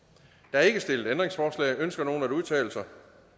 der er ikke stillet ændringsforslag ønsker nogen at udtale sig